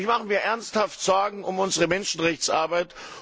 Aber ich mache mir ernsthaft Sorgen um unsere Menschenrechtsarbeit.